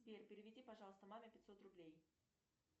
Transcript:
сбер переведи пожалуйста маме пятьсот рублей